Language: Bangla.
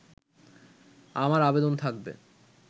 আমার আবেদন থাকবে